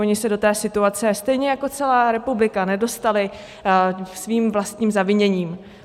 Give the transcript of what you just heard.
Oni se do té situace stejně jako celá republika nedostali svým vlastním zaviněním.